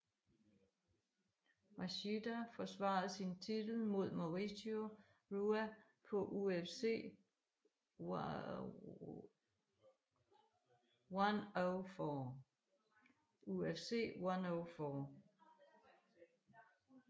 Machida forsvarede sin titel mod Mauricio Rua på UFC 104